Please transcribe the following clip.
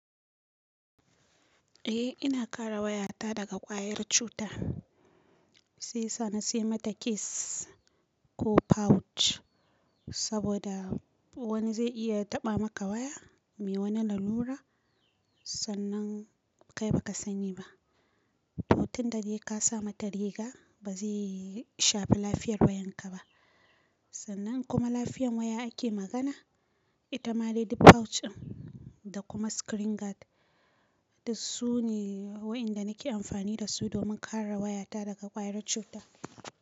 Eh ina kare wayata daga kwayar cuta, sai sani sai mata case ko pouch saboda wani zai iya taɓa maka waya mai wani lalura sannan kai ba ka sani ba. Tutun da dai ka sa mata riga ba zai shafi lafiyar wayanka ba. Sannan kuma lafiyar waya ake magana, ita ma lady pouch din. Da kuma screen guard dasu ne waɗanda nake amfani dasu domin kare wayata daga kwayar cuta.